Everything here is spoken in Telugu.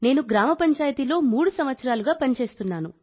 నేను గ్రామ పంచాయతీలో మూడు సంవత్సరాలుగా పని చేస్తున్నాను